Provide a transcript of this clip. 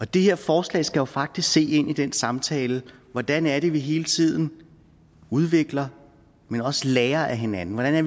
det her forslag skal jo faktisk se ind i den samtale hvordan er det vi hele tiden udvikler at man også lærer af hinanden hvordan er